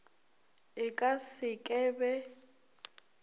e ka se ke be